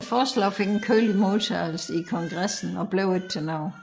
Forslaget fik en kølig modtagelse i Kongressen og blev ikke til noget